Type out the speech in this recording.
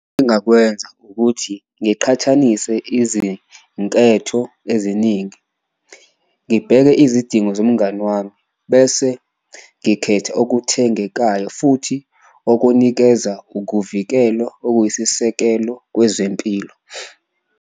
Engakwenza ukuthi ngiqhathanise izinketho eziningi, ngibheke izidingo zomngani wami bese ngikhetha okuthengekayo futhi okunikeza ukuvikelo okuyisisekelo kwezempilo.